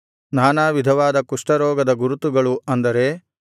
ನಾನಾ ವಿಧವಾದ ಕುಷ್ಠರೋಗದ ಗುರುತುಗಳು ಅಂದರೆ